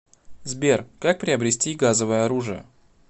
сбер как приобрести газовое оружие